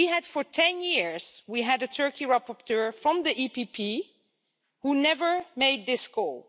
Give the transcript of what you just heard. For 10 years, we had a Turkey rapporteur from the EPP who never made this call.